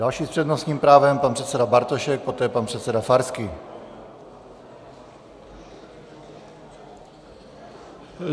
Další s přednostním právem, pan předseda Bartošek, poté pan předseda Farský.